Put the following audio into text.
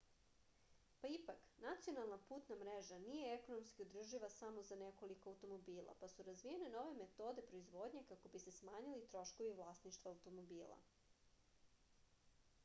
pa ipak nacionalna putna mreža nije ekonomski održiva za samo nekoliko automobila pa su razvijene nove metode proizvodnje kako bi se smanjili troškovi vlasništva automobila